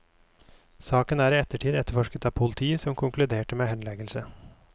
Saken er i ettertid etterforsket av politiet, som konkluderte med henleggelse.